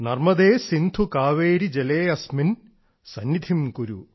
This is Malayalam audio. നർമ്മദേ സിന്ധു കാവേരി ജലേ അസ്മിൻ സന്നിധിം കുരു